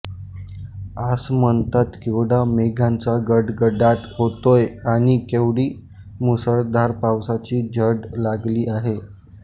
आसमंतात केवढा मेघांचा गडगडाट होतोय आणि केवढी मुसळधार पावसाची झड लागली आहे